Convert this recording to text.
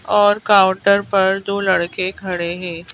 और काउंटर पर दो लड़के खड़े हैं।